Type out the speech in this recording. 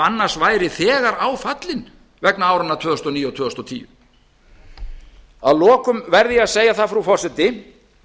annars væri þegar á fallinn vegna áranna tvö þúsund og níu og tvö þúsund og tíu að lokum verð ég að segja það frú forseti